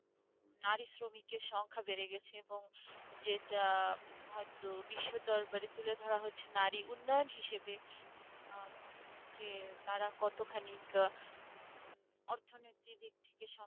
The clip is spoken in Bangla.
নারী শ্রমিকের সংখ্যা বেড়ে গেছে এবং যেটা হয়তো বিশ্ব দরবারে তুলে ধরা হচ্ছে নারী উন্নয়ন হিসাবে আহ উম যে তার কতখানি কা~ অর্থনৈতিক দিক থেকে